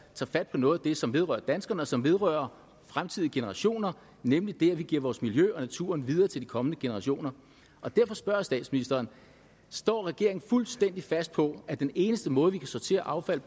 tager fat på noget af det som vedrører danskerne og som vedrører fremtidige generationer nemlig det at vi giver vores miljø og naturen videre til de kommende generationer derfor spørger jeg statsministeren står regeringen fuldstændig fast på at den eneste måde vi kan sortere affald